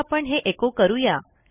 आता आपण हे एचो करू या